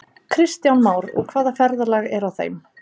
Kristján Már: Og hvaða ferðalag er á þeim?